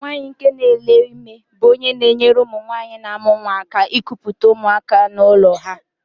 Nwaanyị nke nele ime bú ónyé na-enyere ụmụnwanyị n'amu nwa aka ekupute ụmụaka n'ụlọ ha.